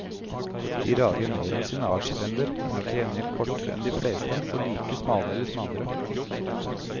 De rager mer enn sine artsfrender, men er til gjengjeld kortere enn de fleste og like smale eller smalere.